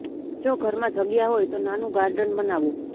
જો ઘરમાં જગ્યા હોય તો નાનું ગાર્ડન બનાવો